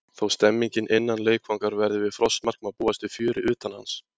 Þó stemningin innan leikvangar verði við frostmark má búast við fjöri utan hans.